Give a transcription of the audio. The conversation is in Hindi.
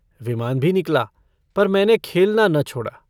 विमान भी निकला पर मैंने खेलना न छोड़ा।